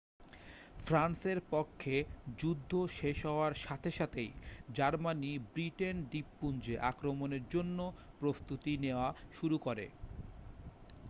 ফ্রান্সের পক্ষে যুদ্ধ শেষ হওয়ার সাথে সাথেই জার্মানি ব্রিটেন দ্বীপপুঞ্জে আক্রমণের জন্য প্রস্তুতি নেওয়া শুরু করে